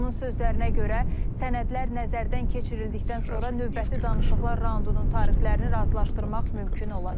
Onun sözlərinə görə, sənədlər nəzərdən keçirildikdən sonra növbəti danışıqlar raundunun tarixlərini razılaşdırmaq mümkün olacaq.